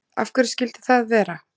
Af hverju skyldi það vera?